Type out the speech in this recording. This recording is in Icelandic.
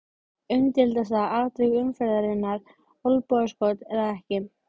Umdeildasta atvik umferðarinnar: Olnbogaskot eða ekki?